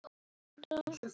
Svo mikið hef ég lært.